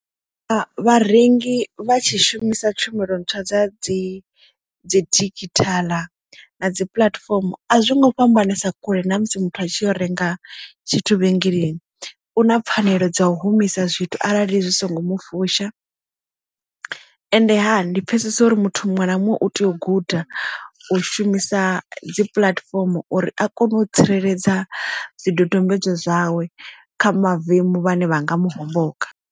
Vharengi vha tshi shumisa tshumelo ntswa dza dzi dzi digital na dzi puḽatifomo a zwo ngo fhambanesa kule na musi muthu a tshi yo renga tshithu vhengeleni u na pfanelo dza u humisa zwithu arali zwi songo mu fusha ende ha ndi pfesesa uri muthu muṅwe na muṅwe u tea u guda u shumisa dzi puḽatifomo uri a kone u tsireledza zwidodombedzwa zwawe kha mavemu vhane vhanga mu homboka.